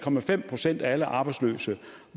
procent af alle arbejdsløse